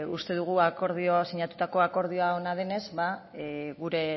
uste dugu sinatutako akordioa ona denez gure